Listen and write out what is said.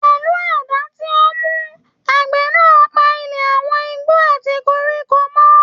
Pẹlú àdá tí ó mú, àgbẹ̀ náà pa ilẹ̀ àwọn igbó àti koríko mọ́.